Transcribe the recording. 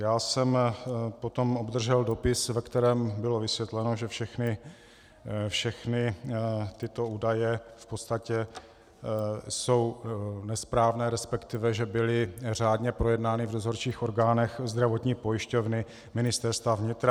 Já jsem potom obdržel dopis, ve kterém bylo vysvětleno, že všechny tyto údaje v podstatě jsou nesprávné, respektive že byly řádně projednány v dozorčích orgánech Zdravotní pojišťovny Ministerstva vnitra.